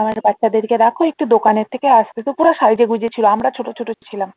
আমার বাচ্চাদের কে রাখো আমি দোকানের থেকে আসছি তো পুরা সাইজা গুঁজে ছিল আমরা ছোটো ছোটো ছিলাম।